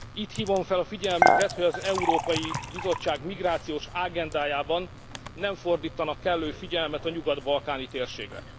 Itt hívom fel a figyelmüket, hogy az Európai Bizottság migrációs ágendájában nem fordítanak kellő figyelmet a nyugat balkáni térségre.